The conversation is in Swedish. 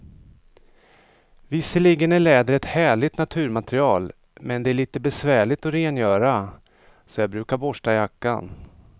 Visserligen är läder ett härligt naturmaterial, men det är lite besvärligt att rengöra, så jag brukar borsta jackan.